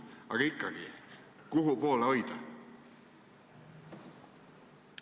Aga ikkagi, kuhu poole hoida?